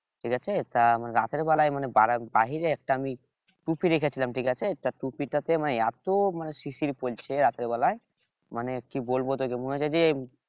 ঠিক আছে তা রাতের বেলায় মানে বাহিরে একটা আমি টুপি রেখেছিলাম ঠিক আছে তা টুপিটাতে মানে এত মানে শিশির পড়েছে রাতের বেলায় মানে কি বলবো তোকে মনে হচ্ছে যে